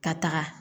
Ka taga